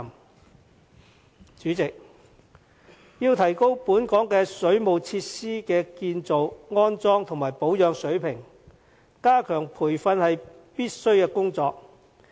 代理主席，要提高本港水務設施的建造、安裝和保養水平，加強培訓是必須的工作。